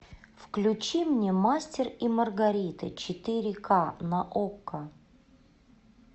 включи мне мастер и маргарита четыре ка на окко